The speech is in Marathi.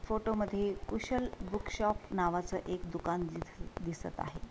फोटो मध्ये कुशल बूक शॉप नावाचं एक दुकान दिस दिसत आहे.